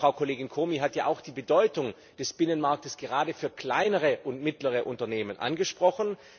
Aber Frau Kollegin Comi hat ja auch die Bedeutung des Binnenmarktes gerade für kleinere und mittlere Unternehmen angesprochen.